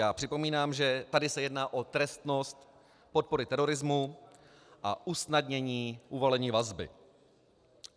Já připomínám, že tady se jedná o trestnost podpory terorismu a usnadnění uvalení vazby.